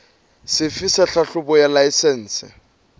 sefe sa tlhahlobo ya laesense